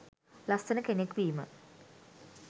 ලස්සන කෙනෙක් වීම